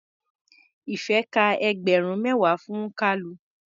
Ìfẹ́ ka ẹgbẹ̀rún mẹ́wàá fún Kalu.